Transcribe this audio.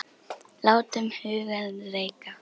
Látum hugann reika.